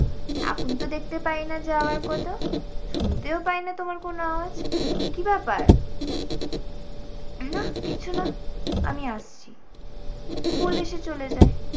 এখন তো দেখতে পাই না যাওয়ার কথা শুনতেও পাই না তোমার কোন আওয়াজ, কী ব্যাপার? নাহ কিছু না আমি আসছি বলে সে চলে যায়।